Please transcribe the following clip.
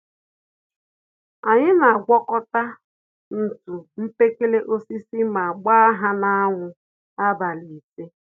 Anyị n'àgwàkọta ntụ mkpekele-osisi ma gbáá ha na anwụ abalị ise